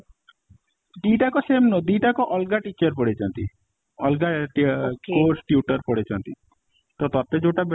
ଦି ଟା ଯାକ same ନୁହଁ, ଦି ଟା ଯାକ ଅଲଗା teacher ପଢେଇଛନ୍ତି ଅଲଗା course tutor ପଢ଼େଇଛନ୍ତି ତ ତତେ ଯୋଉଟା better